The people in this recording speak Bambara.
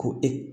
Ko e